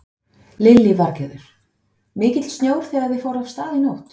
Lillý Valgerður: Mikill snjór þegar þið fóruð af stað í nótt?